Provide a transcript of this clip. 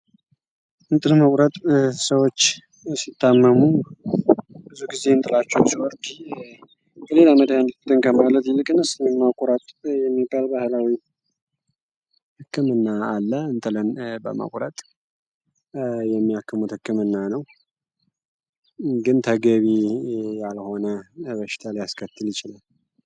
እንጥን መቁረጥ ሰዎች ሲታመሙ ብዙ ጊዜ እንጥላቸዎ ስወርጊ በሌል ዓመደ ልትንከ ማለት ይልቅንስ ማቁረጥ የሚባል በህላዊ ህክምና አለ እንትለን በመቍረጥ የሚያክሙት ሕክምና ነው ግን ተገቢ ያልሆነ በሽታል ያስከትል ይችለል